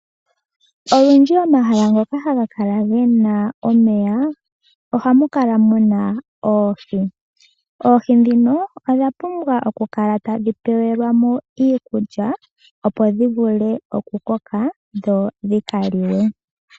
Olundji omahala ngoka haga kala gena omeya, ohamu kala muna oohi. Oohi dhino odha pumbwa okukala tadhi pewelwa mo iikulya, opo dhi vule okukoka dho odhi ka liwe.